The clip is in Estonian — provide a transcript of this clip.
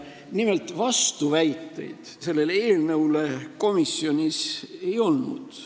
Nimelt, vastuväiteid sellele eelnõule komisjonis ei olnud.